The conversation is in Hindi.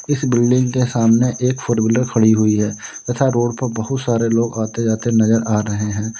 इस बिल्डिंग के सामने एक फोर व्हीलर खड़ी हुई है तथा रोड पर बहुत सारे लोग आते जाते नजर आ रहे हैं।